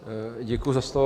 Děkuji za slovo.